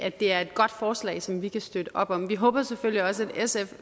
ikke det er et godt forslag som vi kan støtte op om vi håber selvfølgelig også at sf